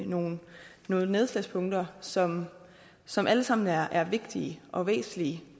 nogle nedslagspunkter som som alle sammen er er vigtige og væsentlige